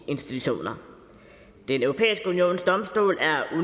institutioner den europæiske unions domstol